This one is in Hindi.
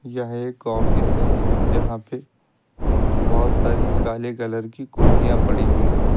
यह एक ऑफिस है जहां पे बहोत सारी काले कलर की कुर्सियां पड़ी हुई हैं।